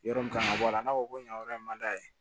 Yɔrɔ min kan ka bɔ a la n'a fɔ ko nin yɔrɔ in man d'a ye